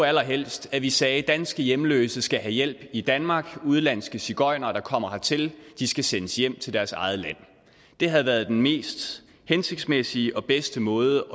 allerhelst at vi sagde danske hjemløse skal have hjælp i danmark udenlandske sigøjnere der kommer hertil skal sendes hjem til deres eget land det havde været den mest hensigtsmæssige og bedste måde